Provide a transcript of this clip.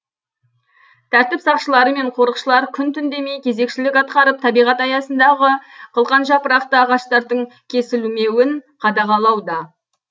тәртіп сақшылары мен қорықшылар күн түн демей кезекшілік атқарып табиғат аясындағы қылқан жапырақты ағаштардың кесілмеуін қадағалауда